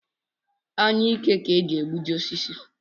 Anyụike ka e ji egbuji osisi